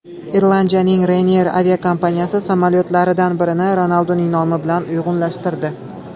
Irlandiyaning Ryanair aviakompaniyasi samolyotlaridan birini Ronalduning nomi bilan uyg‘unlashtirdi .